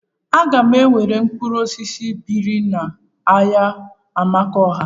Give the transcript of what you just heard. Aga m ere mkpụrụ osisi beri m n'ahia Amakohia?